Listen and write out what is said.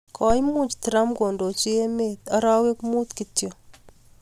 Koimuch trump kondochi emet arawek Mut kityo.